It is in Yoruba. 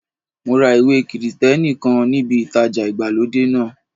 Mo ra ìwé Krìsìtẹ́nì kan níbi ìtajà ìgbàlódé náà.